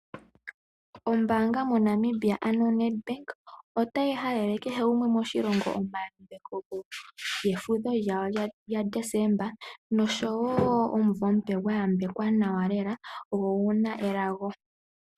Ombaanga moNamibia ano Nedbank otayi halele kehegumwe moshilongo efudho lyaDesemba noshowo omumvo omupe gwa yambekwa lela go ogu na elago.